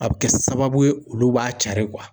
A be kɛ sababu ye olu b'a cari